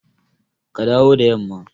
Ka dawo da yamma!